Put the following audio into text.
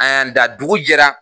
An y'an da dugu jɛra